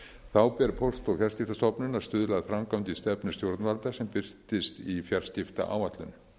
þá ber póst og fjarskiptastofnun að stuðla að framgangi stefnu stjórnvalda sem birtist í fjarskiptaáætlun